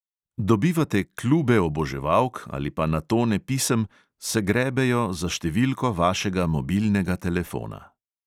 Dobivate klube oboževalk ali pa na tone pisem, se grebejo za številko vašega mobilnega telefona …